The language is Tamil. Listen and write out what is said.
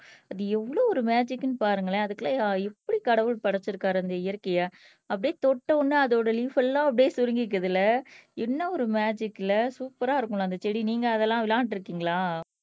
அது எவ்வளோ ஒரு மேஜிக்ன்னு பாருங்களேன் அதுக்குள்ள எப்படி கடவுள் படைச்சிருக்காரு அந்த இயற்கையை அப்படியே தொட்ட உடனே அதோட லிஃப் எல்லாம் அப்படியே சுருங்கிக்குதுல்ல என்ன ஒரு மேஜிக்ல சூப்பர்ரா இருக்கும்ல அந்த செடி நீங்க அதெல்லாம் விளையாண்டிருக்கீங்களா